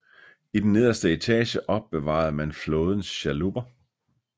I den nederste etage opbevarede man flådens chalupper